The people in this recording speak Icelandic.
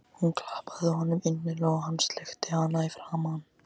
Hún klappaði honum innilega og hann sleikti hana í framan.